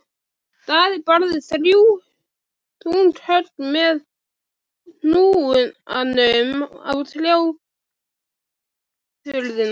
Daði barði þrjú þung högg með hnúanum á tjargaða hurðina.